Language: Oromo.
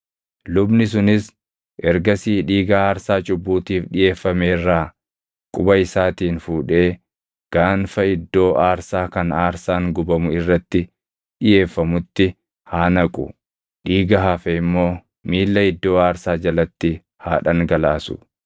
Lubni sunis ergasii dhiiga aarsaa cubbuutiif dhiʼeeffame irraa quba isaatiin fuudhee gaanfa iddoo aarsaa kan aarsaan gubamu irratti dhiʼeeffamutti haa naqu; dhiiga hafe immoo miilla iddoo aarsaa jalatti haa dhangalaasu.